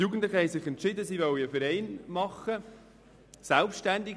Die Jugendlichen haben sich entschieden, einen Verein zu gründen.